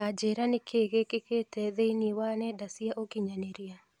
Ta njĩira nĩkĩĩ gĩkĩkĩte thĩinĩ wa nenda cia ũkĩnyaniria